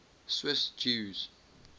swiss jews